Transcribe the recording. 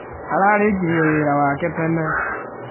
Aarĩkirie wĩra wake tene.